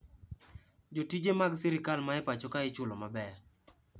Jotije mag sirkal ma e pacho kae ichullo maber